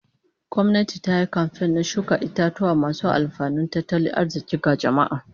Gwamnati ta yi kamfen na shuka itatuwa masu alfanun tattalin arzikin ga jama'a